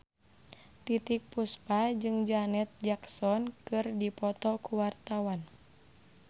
Titiek Puspa jeung Janet Jackson keur dipoto ku wartawan